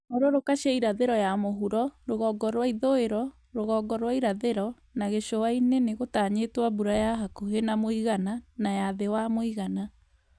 Hũrũrũka cia irathĩro ya mũhuro, rugongo rwa ithũĩro, rũgongo rwa irathĩro, na gĩcũa-inĩ nĩgũtanyĩtwo mbura ya hakuhĩ na mũigana nay a thĩ wa mũigana